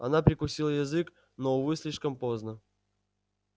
она прикусила язык но увы слишком поздно